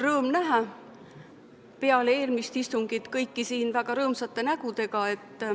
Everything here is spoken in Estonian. Rõõm näha peale eelmist istungit kõiki siin väga rõõmsate nägudega.